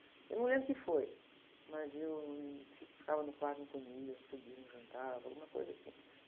Eu não lembro o que foi, mas eu ficava no quarto, não comia, subia, não jantava, alguma coisa assim.